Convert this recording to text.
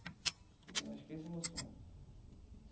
Ah acho que esse é o meu sonho.